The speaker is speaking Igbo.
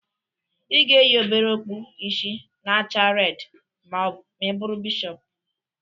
Ị ga-eyi obere okpu ishi na-acha redi ma ị bụrụ bishọpu